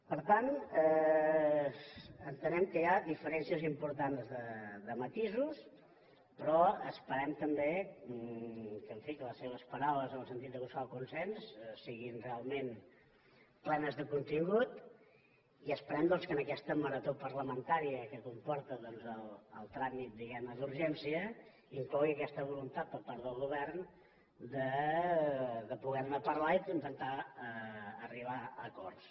per tant entenem que hi ha diferències importants de matisos però esperem també que en fi que les seves paraules en el sentit de buscar el consens siguin realment plenes de contingut i esperem doncs que en aquesta marató parlamentària que comporta doncs el tràmit diguem ne d’urgència inclogui aquesta voluntat per part del govern de poder ne parlar i d’intentar arribar a acords